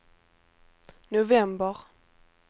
november